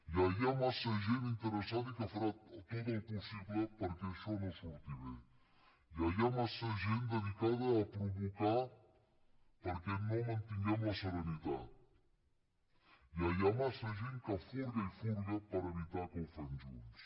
ja hi ha massa gent interessada i que farà tot el possible perquè això no surti bé ja hi ha massa gent dedicada a provocar perquè no mantinguem la serenitat ja hi ha massa gent que furga i furga per evitar que ho fem junts